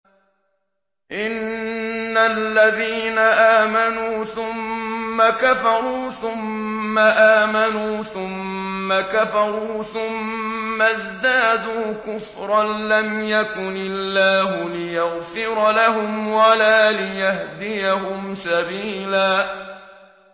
إِنَّ الَّذِينَ آمَنُوا ثُمَّ كَفَرُوا ثُمَّ آمَنُوا ثُمَّ كَفَرُوا ثُمَّ ازْدَادُوا كُفْرًا لَّمْ يَكُنِ اللَّهُ لِيَغْفِرَ لَهُمْ وَلَا لِيَهْدِيَهُمْ سَبِيلًا